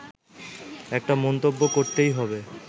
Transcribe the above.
একটা মন্তব্য করতেই হবে